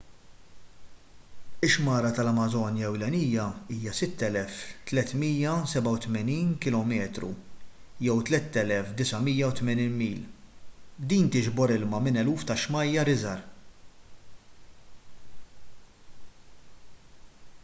ix-xmara tal-amażonja ewlenija hija 6,387 km 3,980 mil. din tiġbor ilma minn eluf ta’ xmajjar iżgħar